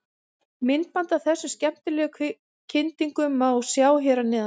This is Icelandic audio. Myndband af þessum skemmtilegu kyndingum má sjá hér að neðan.